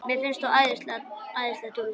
Mér finnst þú æðisleg dúlla!